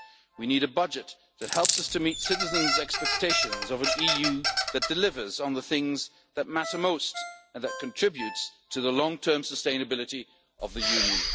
own resources. We need a budget that helps us to meet citizens' expectations of an EU that delivers on the things that matter most and that contributes to the long term sustainability